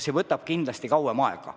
See võtab kindlasti kauem aega.